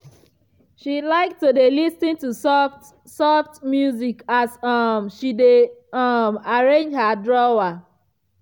she like to dey lis ten to soft-soft music as um she dey um arrange her drawer.